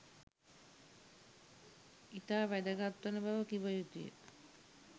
ඉතා වැගත්වන බව කිව යුතු ය.